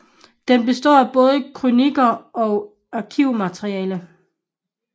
Den består af både krøniker og arkivmateriale